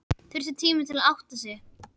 Þurfti tíma til að átta sig.